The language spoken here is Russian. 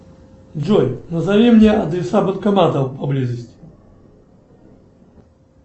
джой назови мне адреса банкоматов поблизости